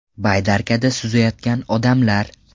Baydarkada suzayotgan odamlar.